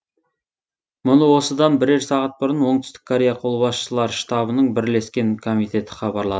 мұны осыдан бірер сағат бұрын оңтүстік корея қолбасшылар штабының бірлескен комитеті хабарлады